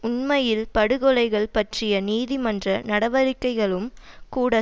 உண்மையில் படுகொலைகள் பற்றிய நீதிமன்ற நடவடிக்கைகளும் கூட